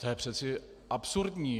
To je přece absurdní.